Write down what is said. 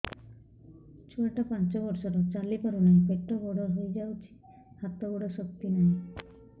ଛୁଆଟା ପାଞ୍ଚ ବର୍ଷର ଚାଲି ପାରୁନାହଁ ପେଟ ବଡ ହୋଇ ଯାଉଛି ହାତ ଗୋଡ଼ର ଶକ୍ତି ନାହିଁ